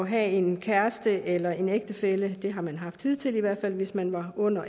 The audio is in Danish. have en kæreste eller ægtefælle det har man haft hidtil hvis man var under